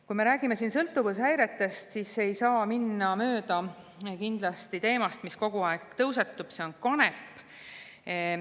Kui me räägime sõltuvushäiretest, siis ei saa kindlasti minna mööda teemast, mis kogu aeg tõusetub: see on kanep.